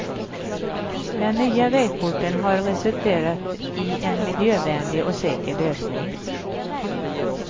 Den nya vägporten har resulterat i en miljövänlig och säker lösning.